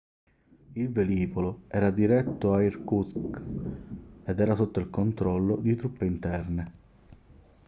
il velivolo era diretto a irkutsk ed era sotto il controllo di truppe interne